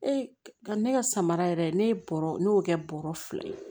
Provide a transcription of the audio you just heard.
Ee ka ne ka samara yɛrɛ ne ye bɔrɔ ne y'o kɛ bɔrɔ fila ye